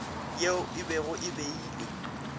yeo e bego e beilwe